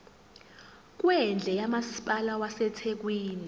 kwendle kamasipala wasethekwini